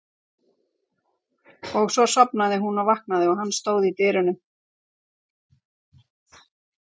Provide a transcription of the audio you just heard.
Og svo sofnaði hún og vaknaði og hann stóð í dyrunum.